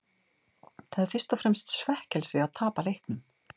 Það er fyrst og fremst svekkelsi að tapa leiknum.